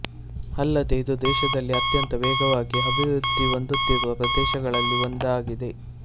ಅಲ್ಲದೆ ಇದು ದೇಶದಲ್ಲಿ ಅತ್ಯಂತ ವೇಗವಾಗಿ ಅಭಿವೃದ್ಧಿ ಹೊಂದುತ್ತಿರುವ ಪ್ರದೇಶಗಳಲ್ಲಿ ಒಂದಾಗಿದೆ